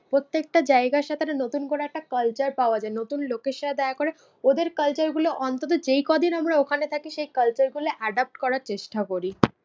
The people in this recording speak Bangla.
প্রত্যেকটা জায়গার সাথে একটা নতুন করে একটা culture পাওয়া যায়। নতুন লোকের সাথে দেখা করে ওদের culture গুলো অন্তত যেই কদিন আমরা ওখানে থাকি সেই culture গুলো adopt করার চেষ্টা করি।